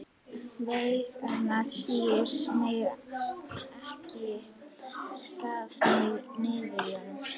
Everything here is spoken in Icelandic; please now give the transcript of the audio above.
Veigarnar dýru megna ekki að þagga niður í honum.